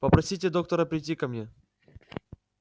попросите доктора прийти ко мне